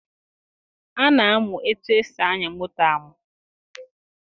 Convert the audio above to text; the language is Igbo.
A na-amụ etu esi anya moto amụ.